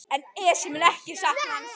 Hvar og hvernig gerðist það?